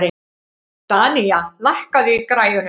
Danía, lækkaðu í græjunum.